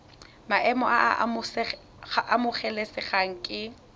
maemo a a amogelesegang ke